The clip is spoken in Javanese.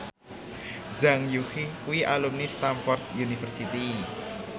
Zhang Yuqi kuwi alumni Stamford University